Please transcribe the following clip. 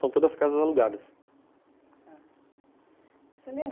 São todas casas alugadas. Tá. Você lem